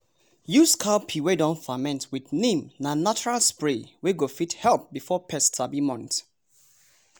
use cow pee wey don ferment with neem na natural spray wey go fit help before pest sabi months.